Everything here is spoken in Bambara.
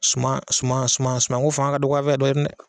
Suma suma suma suma ko fanga ka dɔgɔ an fɛ yan dɔɔni dɛ.